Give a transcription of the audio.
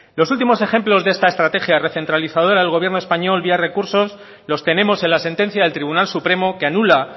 los últimos ejemplos de esta estrategia recentralizadora del gobierno español vía recursos los tenemos en la sentencia del tribunal supremo que anula